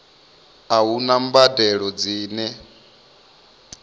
a hu na mbadelo dzine